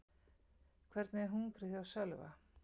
Hvernig er hungrið hjá Sölva?